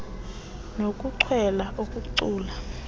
nokuchwela ukucula ichess